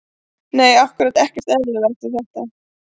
Nei ákkúrat ekkert eðlilegt við þetta.